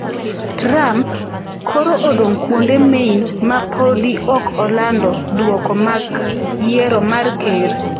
Trump: koro odong' kuonde main ma podi ok olando duoko mak yiero mar ker.